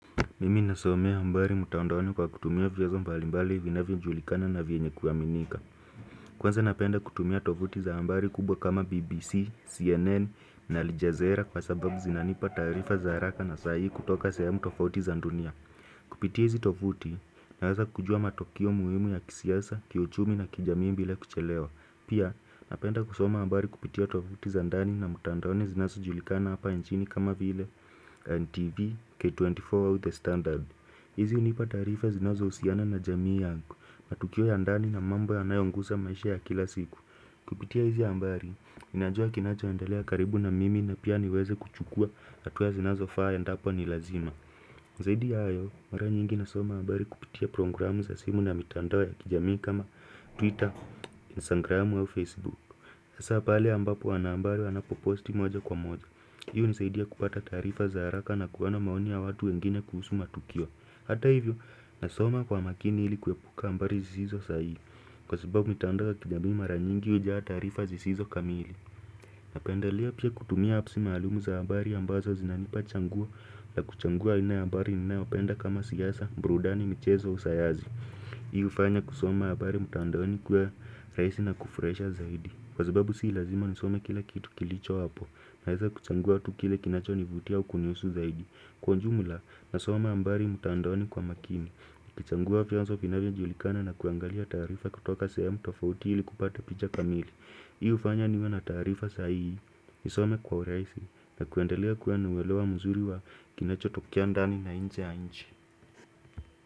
Mimi nasomea bali mtaondoni kwa kutumia vyazo mbalimbali vinavyojulikana na vyenye kuaminika Kwanza napenda kutumia tovuti za habari kubwa kama BBC, CNN na Aljazera kwa sababu zinanipa taarifa haraka na sai kutoka sehemu tofauti za dunia Kupitia hizi tovuti, naweza kujua matokeo muhimu ya kisiasa, kiuchumi na kijamii bila kuchelewa Pia napenda kusoma habari kupitia tovuti za ndani na mtaondoni zinazojulikana hapa nchini kama vile NTV K24 with the standard hizi hunipa taarifa zinazohusiana na jamii yangu matukio ya ndani na mambo yanayongusa maisha ya kila siku Kupitia hizi habari najua kinacho endelea karibu na mimi na pia niweze kuchukua hatua zinazofaa endapo ni lazima zaidi ya hayo mara nyingi nasoma habari kupitia programu za simu na mitandao ya kijamii kama Twitter, Instagram, Facebook Sasa pale ambapo wanahabari wanapo posti moja kwa moja Hii hunisaidia kupata taarifa za haraka na kuona maoni ya watu wengine kuhusu matukio Hata hivyo nasoma kwa makini ili kuepuka habari zisizo sahihi Kwa sababu mitandao ya kijami mara nyingi hujaa taarifa zisizo kamili Napendalea pia kutumia apps maalumu za habari ambazo zinanipa changua na kuchangua aina ya habari ninayopenda kama siasa, burudani, michezo, usayazi Hii fanya kusoma habari mtandaoni kuwe rahisi na kufurahisha zaidi Kwa sababu si lazima ni soma kila kitu kilicho hapo Naeza kuchangua tu kile kinachonivutia au kunihusu zaidi Kwa ujumla, nasoma habari mtandaoni kwa makini ukichangua vianzo vinavyojulikana na kuangalia taarifa kutoka sehemu tofauti ili kupata picha kamili Hii hufanya niwe na taarifa sahihi Nisome kwa urahisi na kuendelea kuwa uwelewa mzuri wa kinachotokea ndani na nje ya nchi.